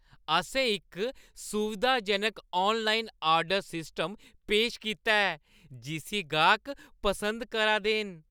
असें इक सुविधाजनक आनलाइन आर्डर सिस्टम पेश कीता ऐ जिस्सी गाह्क पसंद करा दे न।